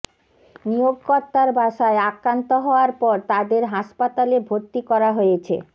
নিয়োগকর্তার বাসায় আক্রান্ত হওয়ার পর তাদের হাসপাতালে ভর্তি করা হয়েছে